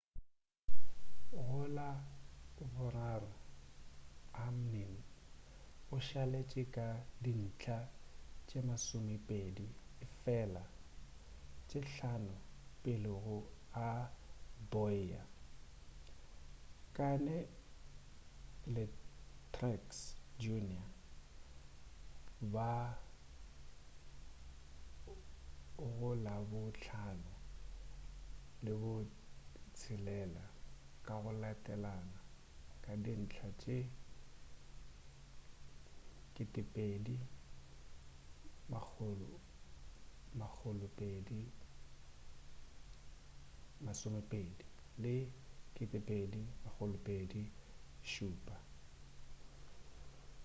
go la boraro hamlin o šaletše ka dintlha tše masomepedi efela tše hlano pele ga bowyer kahne le truex jr ba go la bo hlano le bo tshelela ka go latelana ka dintlha tše 2,220 le 2,207